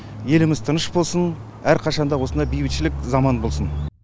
еліміз тыныш болсын әрқашанда осындай бейбітшілік заман болсын